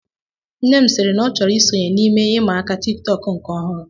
Nne m siri na ọ chọrọ isonye n'ihe ịma aka tiktok nke ọhụrụ